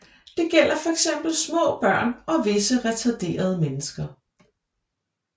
Det gælder fx små børn og visse retarderede mennesker